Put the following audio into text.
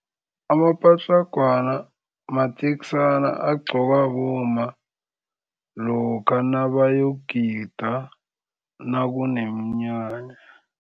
Amapatlagwana mateksana agqokwa bomma lokha nabayokugida nakuneminyanya.